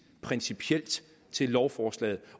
principielt til lovforslaget